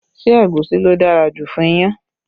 Ṣé egusi ló dára jù fún iyán?